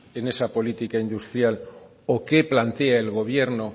en esa política industrial o qué plantea el gobierno